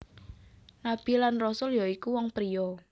Nabi lan Rasul ya iku wong pria